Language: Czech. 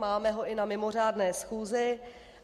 Máme ho i na mimořádné schůzi.